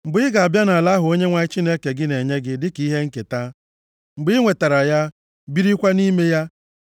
Mgbe ị ga-aba nʼala ahụ Onyenwe anyị Chineke gị na-enye gị dịka ihe nketa, mgbe ị nwetara ya, birikwa nʼime ya,